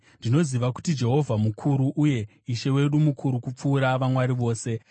Ndinoziva kuti Jehovha mukuru, uye kuti Ishe wedu mukuru kupfuura vamwari vose.